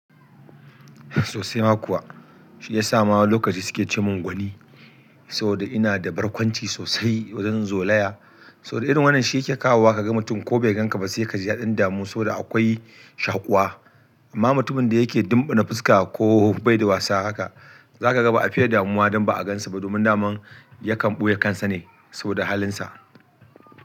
Sosai ma kuwa, shi ya sa ma lokaci suke ce mun gwani saboda ina da barkwanci sosai wajen zolaya. Saboda irin wannan shi yake kawowa ka ga mutum ko bai ganka ba sai ka ji yaɗan damu saboda akwai shaƙuwa. Amma mutumin da yake dumɓune fuska ko bai da wasa haka, za ka ga ba a fiye da muwa don ba a gansu ba. Domin daman ya kan ɓoye kansa ne saboda halinsa.